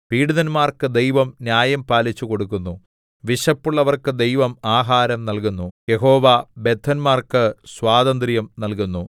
പീഡിതന്മാർക്ക് ദൈവം ന്യായം പാലിച്ചു കൊടുക്കുന്നു വിശപ്പുള്ളവർക്ക് ദൈവം ആഹാരം നല്കുന്നു യഹോവ ബദ്ധന്മാർക്ക് സ്വാതന്ത്ര്യം നൽകുന്നു